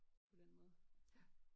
På den måde